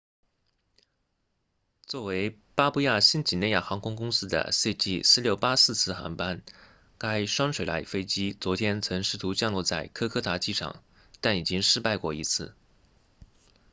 作为巴布亚新几内亚航空公司的 cg4684 次航班该双水獭飞机昨天曾试图降落在科科达机场但已经失败过一次